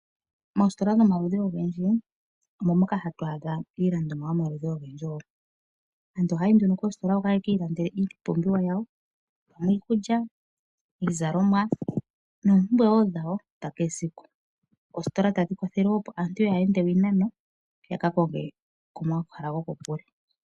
Moositola dhomaludhi ogendji moka hatu adha iilandithomwa yomaludhi ogendji. Aantu ohaya yi nduno koositola hoka ye ki ilandele iipumbiwa yawo ongele iikulya, iizalomwa noompumbwe wo dhawo dha kehe esiku. Oositola tadhi kwathele wo aantu kaya ende iinano ya ka konge komahala gokokule.